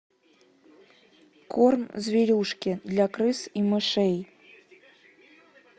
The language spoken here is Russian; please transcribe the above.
корм зверюшки для крыс и мышей